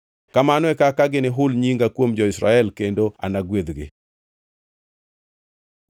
“Kamano e kaka ginihul nyinga kuom jo-Israel, kendo anagwedhgi.”